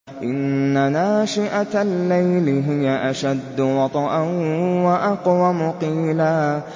إِنَّ نَاشِئَةَ اللَّيْلِ هِيَ أَشَدُّ وَطْئًا وَأَقْوَمُ قِيلًا